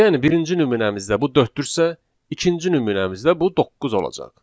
Yəni birinci nümunəmizdə bu dörddürsə, ikinci nümunəmizdə bu doqquz olacaq.